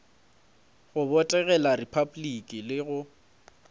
go botegela repabliki le go